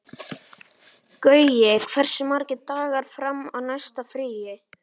Gaui, hversu margir dagar fram að næsta fríi?